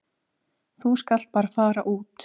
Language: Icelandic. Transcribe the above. Þú skalt bara fara út.